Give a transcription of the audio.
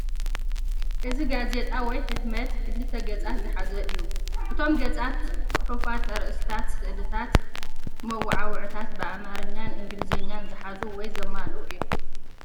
እዚ ጋዜጣ ወይ ሕትመት ክልተ ገጻት ዝሓዘ እዩ። እቶም ገጻት ጽሑፋት፡ ኣርእስታት፡ ስእልታት፡ መወዓውዒታት ብኣምሓርኛን እንግሊዝኛን ዝሓዙ ወይ ዘማልኡ እዮም።